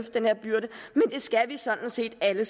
den her byrde det skal vi sådan set alle